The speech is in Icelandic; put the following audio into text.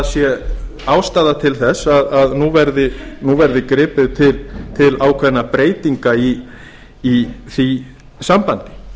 sé ástæða til að nú verði gripið til ákveðinna breytinga í því sambandi